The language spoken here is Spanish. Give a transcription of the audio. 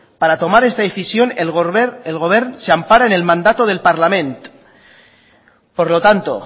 para tomar esta decisión el govern se ampara en el mandato del parlament por lo tanto